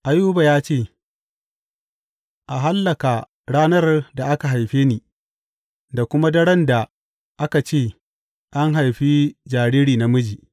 Ayuba ya ce, A hallaka ranar da aka haife ni, da kuma daren da aka ce, An haifi jariri namiji!’